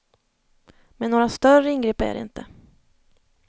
Men några större ingrepp är det inte.